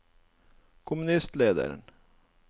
kommunistlederen